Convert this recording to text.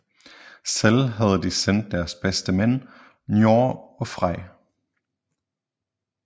Selv havde de sendt deres bedste mænd Njord og Frej